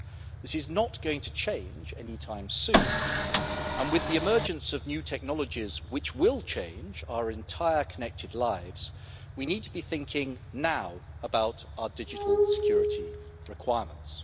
This is not going to change any time soon, and with the emergence of new technologies which will change our entire connected lives we need to be thinking right now about our digital security requirements.